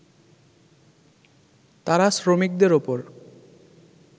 তারা শ্রমিকদের ওপর